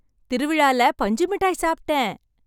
திருவிழால பஞ்சு மிட்டாய் சாப்பிட்டேன்!